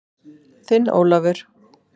Þinn Ólafur.